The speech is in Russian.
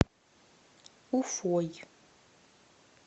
уфой